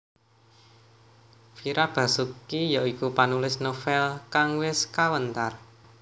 Fira Basuki ya iku panulis novèl kang wis kawentar